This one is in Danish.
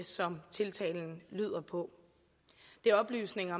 som tiltalen lyder på det er oplysninger